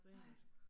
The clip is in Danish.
Nej